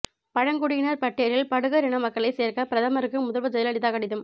பழங்குடியினர் பட்டியலில் படுகர் இனமக்களை சேர்க்க பிரதமருக்கு முதல்வர் ஜெயலலிதா கடிதம்